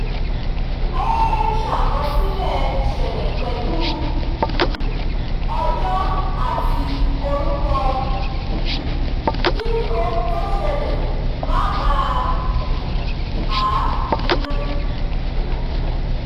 ó ń ṣàkọsílẹ̀ ìṣẹ̀lẹ̀ pẹ̀lú um ọjọ́ àti orúkọ um kí ohun tó ṣẹlẹ̀ má bà a nínú